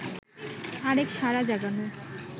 আরেক সাড়া জাগানো